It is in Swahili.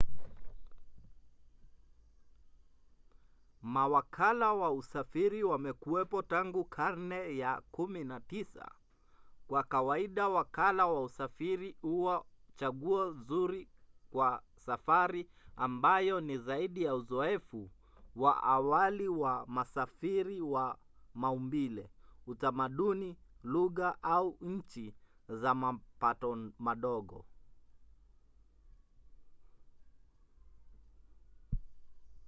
mawakala wa usafiri wamekuwapo tangu karne ya 19. kwa kawaida wakala wa usafiri huwa chaguo zuri kwa safari ambayo ni zaidi ya uzoefu wa awali wa msafiri wa maumbile utamaduni lugha au nchi za mapato madogo